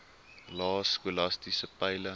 lae skolastiese peile